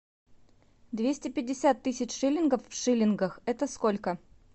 двести пятьдесят тысяч шиллингов в шиллингах это сколько